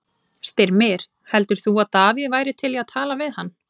Styrmir, heldur þú að Davíð væri til í að tala við hann?